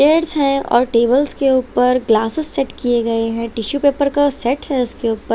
है और टेबल्स के ऊपर ग्लासेस सेट किए गए है टिशू पेपर का सेट है उसके ऊपर।